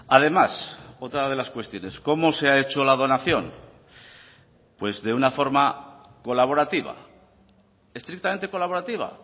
además otra de las cuestiones cómo se ha hecho la donación pues de una forma colaborativa estrictamente colaborativa